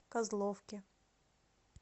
козловке